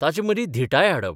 ताचे मदीं धिटाय हाडप.